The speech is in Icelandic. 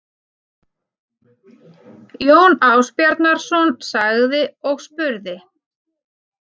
Jón Ásbjarnarson sagði og spurði